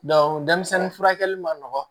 furakɛli ma nɔgɔn